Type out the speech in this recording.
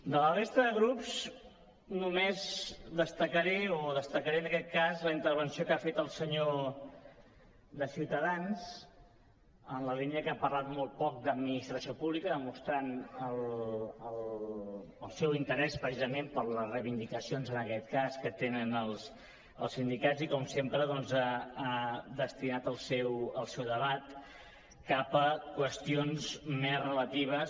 de la resta de grups només destacaré o destacaré en aquest cas la intervenció que ha fet el senyor de ciutadans en la línia que ha parlat molt poc d’administració pública demostrant el seu interès precisament per les reivindicacions en aquest cas que tenen els sindicats i com sempre ha destinat el seu debat cap a qüestions més relatives